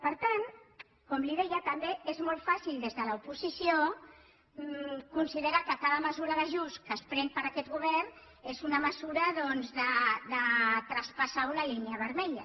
per tant com li deia també és molt fàcil des de l’oposició considerar que cada mesura d’ajust que pren aquest govern és una mesura de traspassar una línia vermella